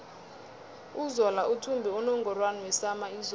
uzola uthumbe unungorwana wesama izolo